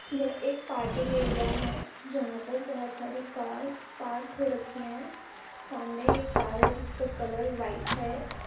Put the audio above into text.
यह एक parking area है। जहाँ पर बहोत सारी कार पार्क हो रखी हैं। सामने एक कार है जिसका कलर व्हाइट है।